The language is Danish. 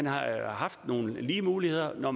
har haft lige muligheder når